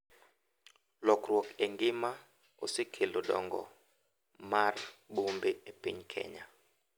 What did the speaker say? Lokruok e ngima osekelo dongo mar bombe e piny Kenya